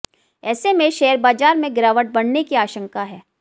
ऐसे में शेयर बाजार में गिरावट बढ़ने की आशंका है